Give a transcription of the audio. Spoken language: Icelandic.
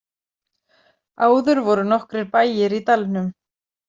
Áður voru nokkrir bæir í dalnum.